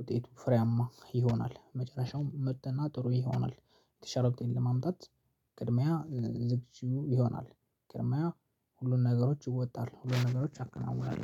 ውጤቱ ፍሬያማ ይሆናል መጨረሻው ምርጥና ጥሩ ይሆናል። የተሻለ ውጤት ለማምጣት ቅድሚያ ዝግጁ ይሆናል ቅድሚያ ሁሉን ነገሮች እወጣለሁ ሁሉን ነገሮች አከናውናለሁ